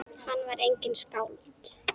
Hann var einnig skáld.